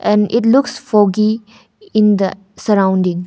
And it's look foggy in the sorrounding.